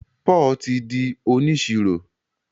Paul tí dì oniṣiro